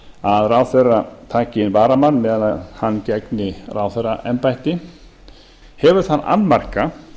að ráðherra taki inn varamann meðan hann gegnir ráðherraembætti hefur þann annmarka